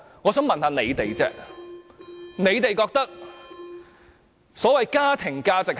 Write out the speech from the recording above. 我想問問大家，所謂的家庭價值是甚麼？